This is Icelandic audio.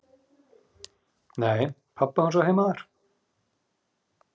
"""Nei, pabbi hans á heima þar."""